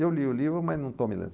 Eu li o livro, mas não estou me